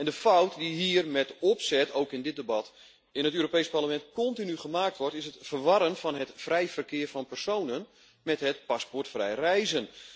De fout die hier met opzet, ook in dit debat, in het Europees Parlement, continu gemaakt wordt is het verwarren van het vrij verkeer van personen met het paspoortvrij reizen.